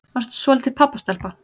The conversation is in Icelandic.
Varstu svolítil pabbastelpa?